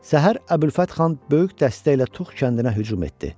Səhər Əbülfət Xan böyük dəstəklə Tux kəndinə hücum etdi.